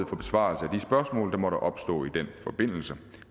for besvarelse af måtte opstå i den forbindelse